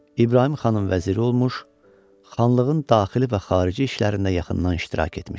İbrahim xanın vəziri olmuş, xanlığın daxili və xarici işlərində yaxından iştirak etmişdir.